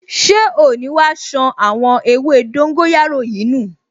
Ṣé oò ní wá ṣan àwọn ewé dóńgóyárò yìí nù!